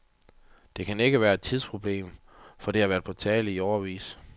Det kan ikke være et tidsproblem, for det har været på tale i årevis.